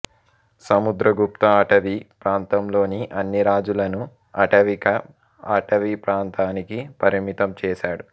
సముద్రగుప్త అటవీ ప్రాంతంలోని అన్ని రాజులను అటవిక ఆటవీప్రాంతానికి పరిమితం చేసాడు